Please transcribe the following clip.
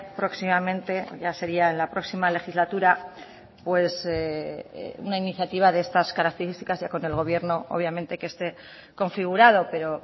próximamente ya sería en la próxima legislatura una iniciativa de estas características ya con el gobierno obviamente que esté configurado pero